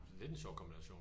Det lidt en sjov kombination